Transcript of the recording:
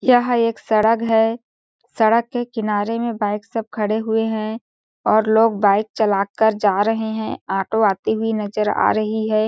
यह एक सड़क है सड़क के किनारे में बाइक से सब खड़े है और लोग बाइक चला कर जा रहे है ऑटो आती हुई नज़र आ रही है।